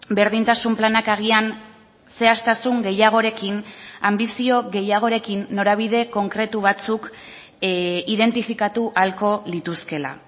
berdintasun planak agian zehaztasun gehiagorekin anbizio gehiagorekin norabide konkretu batzuk identifikatu ahalko lituzkela